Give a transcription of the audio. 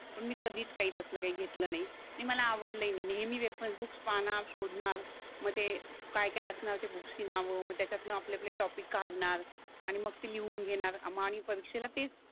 पण मी कधीच काही तसलं काही घेतलं नाही नी मला आवडले ही नाही नेहमी रेफरन्स बुक्स पाहणार शोधणार म ते काय काय असणार ते बुक्स ची नाव म त्याच्यातन आपले आपले टॉपिक काढणार आणि मग ती लिहून घेणार आणि परीक्षेला तेच